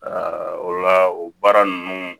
o la o baara ninnu